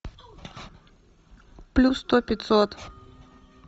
плюс сто пятьсот